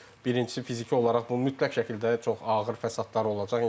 Birincisi fiziki olaraq bunun mütləq şəkildə çox ağır fəsadları olacaq.